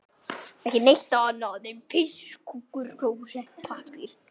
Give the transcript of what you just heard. Verður aftur hrædd.